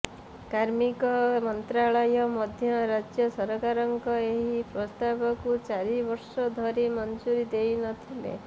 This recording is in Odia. କାର୍ମିକ ମନ୍ତ୍ରାଳୟ ମଧ୍ୟ ରାଜ୍ୟ ସରକାରଙ୍କ ଏହି ପ୍ରସ୍ତାବକୁ ଚାରିବର୍ଷ ଧରି ମଞ୍ଜୁରୀ ଦେଇନଥିଲେ